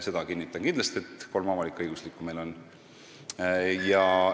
Seda ma kinnitan, et avalik-õiguslikke on kolm.